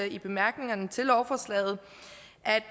i bemærkningerne til lovforslaget